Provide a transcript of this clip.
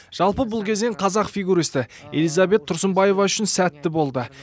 жалпы бұл кезең қазақ фигурисі элизабет тұрсынбаева үшін сәтті болды